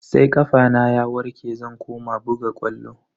Sai kafana ya warke zan koma buga ƙwallo.